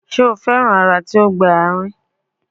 Ṣe o fẹran ara ti o gba aarin?